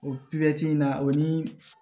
O in na o ni